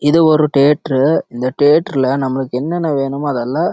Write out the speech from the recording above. இது ஒரு தேர்ந்தெர் உஹ் இந்த தேர்ந்தெர் லே